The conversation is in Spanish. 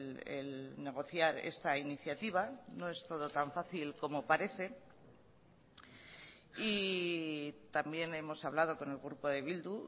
el negociar esta iniciativa no es todo tan fácil como parece y también hemos hablado con el grupo de bildu